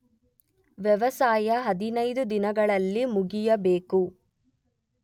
ವ್ಯವಸಾಯ ಹದಿನೈದು ದಿನಗಳಲ್ಲಿ ಮುಗಿಯಬೇಕು.